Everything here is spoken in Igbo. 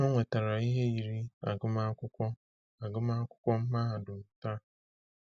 O nwetara ihe yiri agụmakwụkwọ agụmakwụkwọ mahadum taa.